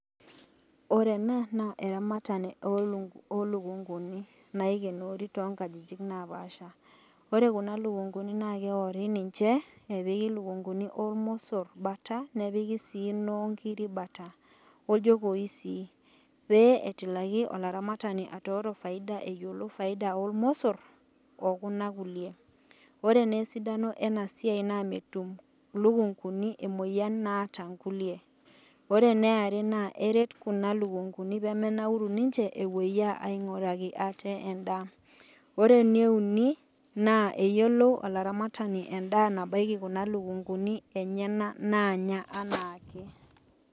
Ore ena naa eramatare oluk, olukunguni naikenori toonkajijik napaasha . Ore kuna lukunkuni naa keori ninche nepik ilukunkuni ormosor bata , nepiki sii inoonkiri bata, oljopoi si , pee etilaki alaramatani atooro faida eyiolo faida ormosor okuna kulie. Ore naa esidano enasiai naa metum ilukunkuni emoyian naata nkulie , ore eneare eret kuna lukunkuni pemenauru ninche epuoyia epuo ainguraki ate endaa , ore eneuni naa eyiolo olaramatani endaa nabaiki kuna lukunkuni enyenak nanya anaake